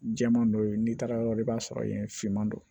Jɛman dɔ ye n'i taara yɔrɔ la i b'a sɔrɔ yen finman don